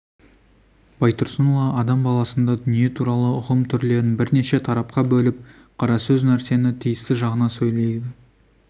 байтұрсынұлы адам баласында дүние туралы ұғым түрлерін бірнеше тарапқа бөліп қара сөз нәрсені тиісті жағына сөйлейді